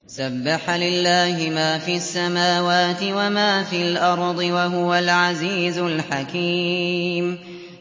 سَبَّحَ لِلَّهِ مَا فِي السَّمَاوَاتِ وَمَا فِي الْأَرْضِ ۖ وَهُوَ الْعَزِيزُ الْحَكِيمُ